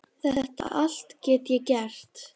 Þetta allt get ég gert.